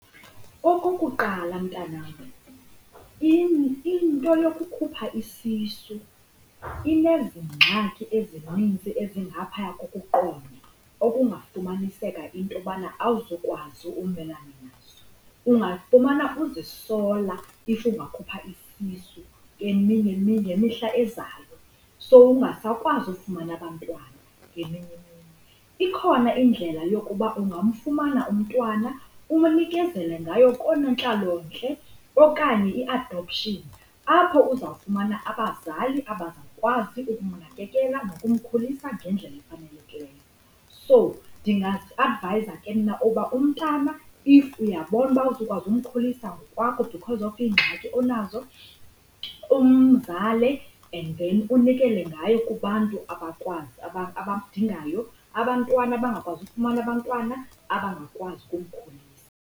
Okokuqala, mntanam, into yokukhupha isisu inezi ngxaki ezinintsi ezingaphaya kokuqonda okungafumaniseka into yobana awuzukwazi umelana nazo. Ungafumana uzisola if ungakhupha isisu ngemihla ezayo, sowungasakwazi ufumana abantwana ngeminye imihla. Ikhona indlela yokuba ungamfumana umntwana unikezele ngaye konoonontlalontle okanye i-adoption apho uzawufumana abazali abazakwazi ukumnakekela nokumkhulisa ngendlela efanelekileyo. So, ndingakuedvayiza ke mna uba umntana if uyabona uba awuzukwazi umkhulisa ngokwakho because of iingxaki onazo umzale and then unikele ngaye kubantu abamdingayo abantwana abangakwazi ukufumana abantwana abangakwazi ukumkhulisa.